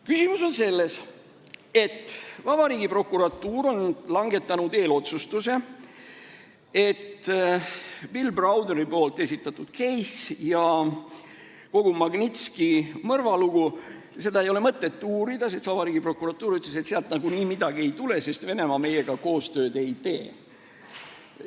Küsimus on selles, et vabariigi prokuratuur on langetanud eelotsustuse, et Bill Browderi esitatud case'i ja kogu Magnitski mõrvalugu ei ole mõtet uurida, sest vabariigi prokuratuur ütles, et sealt nagunii midagi ei tule, sest Venemaa meiega koostööd ei tee.